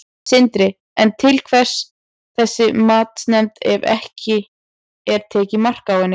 Sindri: En til hvers þessi matsnefnd ef að ekki er tekið mark á henni?